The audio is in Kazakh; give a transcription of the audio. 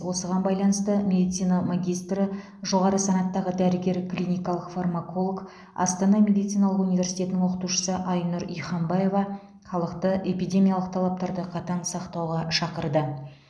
осыған байланысты медицина магистры жоғары санаттағы дәрігер клиникалық фармаколог астана медициналық университетінің оқытушысы айнұр ихамбаева халықты эпидемиялық талаптарды қатаң сақтауға шақырды